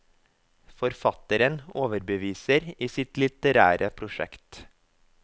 Forfatteren overbeviser i sitt litterære prosjekt.